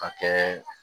Ka kɛ